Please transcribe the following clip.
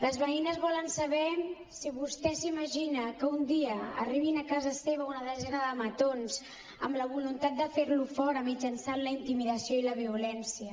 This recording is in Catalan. les veïnes volen saber si vostè s’imagina que un dia arribin a casa seva una desena de matons amb la voluntat de fer lo fora mitjançant la intimidació i la violència